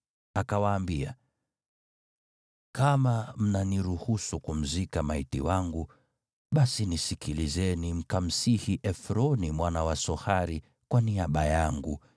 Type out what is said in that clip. Akawaambia, “Kama mnaniruhusu kumzika maiti wangu, basi nisikilizeni mkamsihi Efroni mwana wa Sohari kwa niaba yangu